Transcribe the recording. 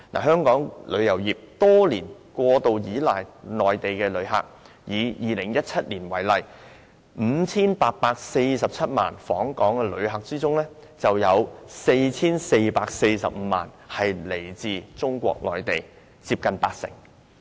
香港旅遊業多年來過度倚賴內地旅客，以2017年為例，在 5,847 萬名訪港旅客中，便有 4,445 萬人來自中國內地，佔總數接近八成。